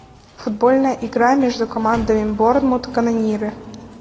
футбольная игра между командами борнмут канониры